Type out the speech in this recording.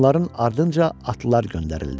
Bunların ardınca atlılar göndərildi.